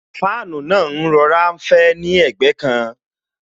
Fáànù náà ń rọra fẹ́ ni ẹ̀gbẹ́ kan